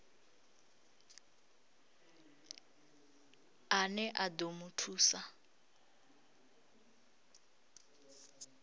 ane a ḓo mu thusa